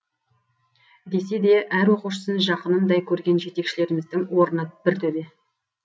десе де әр оқушысын жақынындай көрген жетекшілеріміздің орны бір төбе